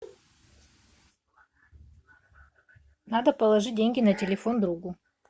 надо положить деньги на телефон другу